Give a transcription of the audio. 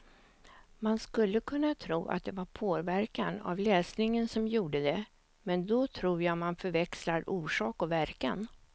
Man skulle kunna tro att det var påverkan av läsningen som gjorde det, men då tror jag man förväxlar orsak och verkan.